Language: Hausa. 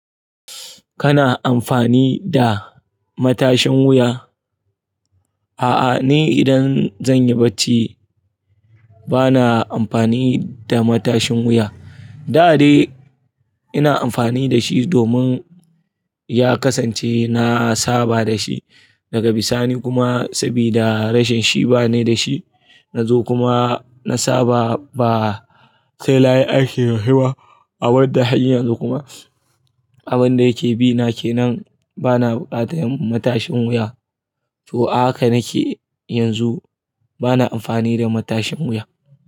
Kana amfani da matashin wuya? A'a, ni idan zan yi barci bana amfani da matashin wuya. Da dai ina amfani da shi domin ya kasance na saba da shi daga bisani kuma sabida rashin shiba ne da shi. Na zo kuma na saba ba sai nayi aiki dashiba abinda har yanzu kuma abin da yake bi na ke nan bana buƙatar matashin wuya. To a haka nake yanzu bana amfani da matashin wuya.